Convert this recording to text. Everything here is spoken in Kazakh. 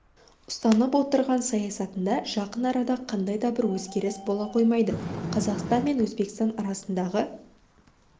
ұстанып отырған саясатында жақын арада қандай да бір өзгеріс бола қоймайды қазақстан мен өзбекстан арасындағы